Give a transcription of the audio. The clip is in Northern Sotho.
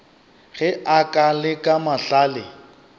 ge a ka leka mahlale